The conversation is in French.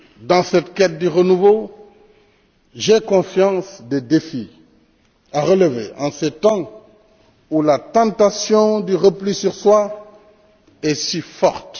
Dans cette quête du renouveau, j'ai conscience des défis à relever en ces temps où la tentation du repli sur soi est si forte.